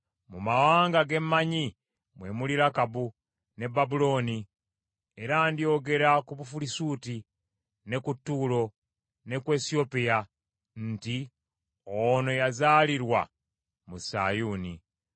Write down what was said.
“Mu mawanga ge mmanyi mwe muli Lakabu, ne Babulooni; era ndyogera ku Bufirisuuti, ne ku Ttuulo ne ku Esiyopya nti, ‘Ono yazaalirwa mu Sayuuni.’ ”